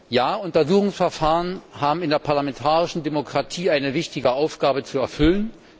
Ja, Untersuchungsverfahren haben in der parlamentarischen Demokratie eine wichtige Aufgabe zu erfüllen.